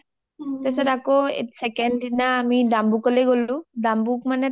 তাৰপিছত আকৌ second দিনা আৰু আমি ডাম্বুকলৈ গ’লো